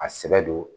A sɛbɛ don